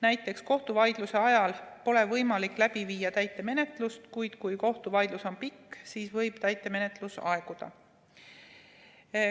Näiteks, kohtuvaidluse ajal pole võimalik läbi viia täitemenetlust, kuid kui kohtuvaidlus on pikk, siis võib täitemenetlus aeguda.